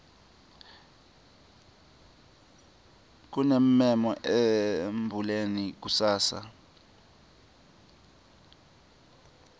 kunemmemo embuleni kusasa